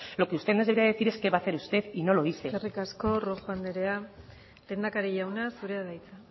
lo que usted nos debería decir es qué va a hacer usted y no lo dice eskerrik asko rojo anderea lehendakari jauna zurea da hitza